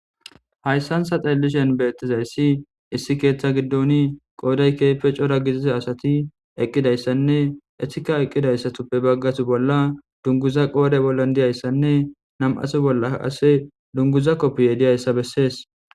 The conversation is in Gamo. haysan ta xellishen beetizayssi issi keeththa giddoni qooday keepe cora gizize asati eqqidayssanne etika eqqidayssatuppe baggasu bolla dunguza qoode bollon diyayssanne nam7asu bolla ase dunguza koppiye diyayssa bessees